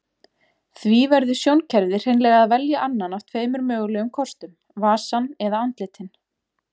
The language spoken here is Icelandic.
Því verður sjónkerfið hreinlega að velja annan af tveimur mögulegum kostum, vasann eða andlitin.